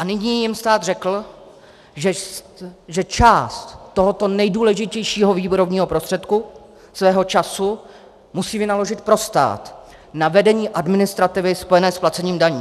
A nyní jim stát řekl, že část tohoto nejdůležitějšího výrobního prostředku, svého času, musí vynaložit pro stát na vedení administrativy spojené s placením daní.